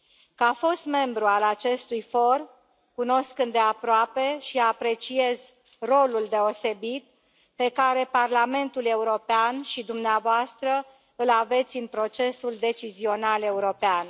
Ca fost membru al acestui for, cunosc îndeaproape și apreciez rolul deosebit pe care Parlamentul European și dumneavoastră îl aveți în procesul decizional european.